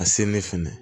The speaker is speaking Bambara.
A se ne fɛnɛ